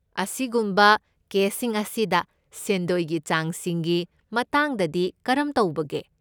ꯑꯁꯤꯒꯨꯝꯕ ꯀꯦꯁꯁꯤꯡ ꯑꯁꯤꯗ ꯁꯦꯟꯗꯣꯏꯒꯤ ꯆꯥꯡꯁꯤꯡꯒꯤ ꯃꯇꯥꯡꯗꯗꯤ ꯀꯔꯝ ꯇꯧꯕꯒꯦ?